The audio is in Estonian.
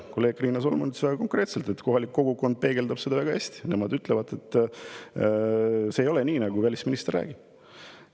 Kolleeg Riina Solman ütles väga konkreetselt: kohalik kogukond peegeldab seda väga hästi ja nende sõnul see ei ole nii, nagu välisminister räägib.